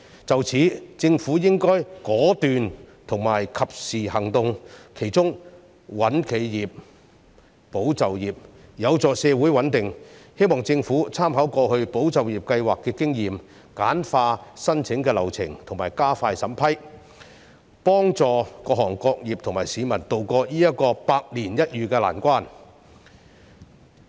就此，政府應該果斷及時行動，其中"穩企業，保就業"便有助社會穩定，我希望政府參考過去"保就業"計劃的經驗，簡化申請流程及加快審批，協助各行各業和市民渡過這個百年一遇的難關。